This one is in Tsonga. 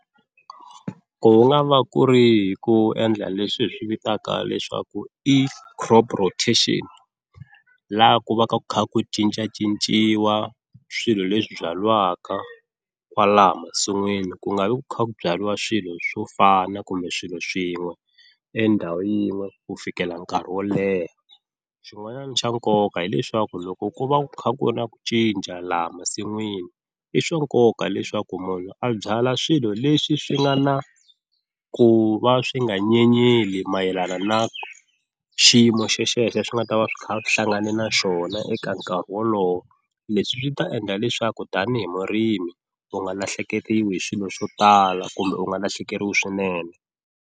Ku nga va ku ri hi ku endla leswi hi swi vitaka leswaku i crop rotation laha ku va ku kha ku cincacinciwa swilo leswi byariwaka kwalaho masin'wini ku nga vi ku kha ku byaliwa swilo swo fana kumbe swilo swin'we endhawu yin'we ku fikela nkarhi wo leha, xin'wanyana xa nkoka hileswaku loko ku va ku kha ku na ku cinca laha masin'wini i swa nkoka leswaku munhu a byala swilo leswi swi nga na ku va swi nga nyenyeli mayelana na xiyimo xexexo swi nga ta va swi kha swi hlangane na xona eka nkarhi wolowo leswi swi ta endla leswaku tanihi murimi u nga lahlekeliwi hi swilo swo tala kumbe u nga lahlekeriwi swinene.